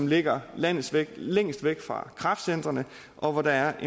ligger længst væk længst væk fra kraftcentrene og hvor der er